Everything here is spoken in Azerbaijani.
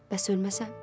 Bəs ölməsəm?